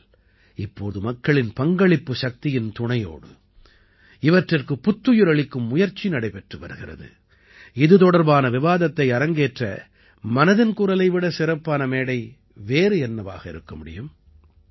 ஆனால் இப்போது மக்களின் பங்களிப்புச் சக்தியின் துணையோடு இவற்றிற்குப் புத்துயிர் அளிக்கும் முயற்சி நடைபெற்று வருகிறது இது தொடர்பான விவாதத்தை அரங்கேற்ற மனதின் குரலை விடச் சிறப்பான மேடை வேறு என்னவாக இருக்க முடியும்